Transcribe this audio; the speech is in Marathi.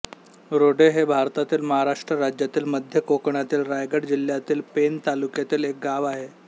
रोडे हे भारतातील महाराष्ट्र राज्यातील मध्य कोकणातील रायगड जिल्ह्यातील पेण तालुक्यातील एक गाव आहे